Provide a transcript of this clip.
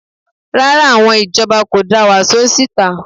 Rárá, àwọn ìjọba kò da wàsó síta